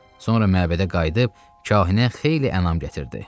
Sonra məbədə qayıdıb kahinə xeyli ənam gətirdi.